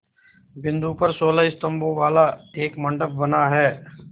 बिंदु पर सोलह स्तंभों वाला एक मंडप बना है